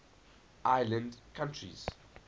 island countries